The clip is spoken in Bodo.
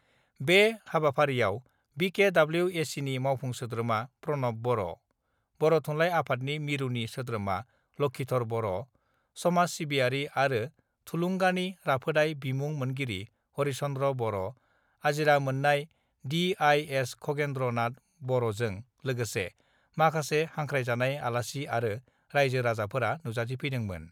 बे हाबाफारियाव बि के डब्लिउ ए सिनि मावफुं सोद्रोमा प्रणब बर', बर' थुनलाइ आफादनि मिरुनि सोद्रोमा लक्षीधर बर, समाज सिबियारि आरो थुलुंगानि राफोदाइ बिमुं मोनगिरि हरिचन्द्र बर', आजिरा मोन्नाय D I S Khagendra Nath बर'जों लोगोसे माखासे हांख्रायजानाय आलासि आरो राइजो राजाफोरा नुजाथिफैदोंमोन।